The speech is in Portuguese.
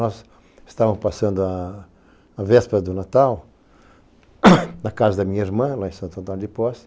Nós estávamos passando a véspera do Natal na casa da minha irmã, lá em Santo Antônio de Pozzi.